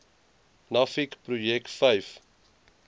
nuffic projek vyf